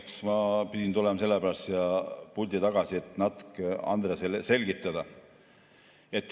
Eks ma pidin sellepärast tulema siia pulti tagasi, et natuke Andresele selgitada.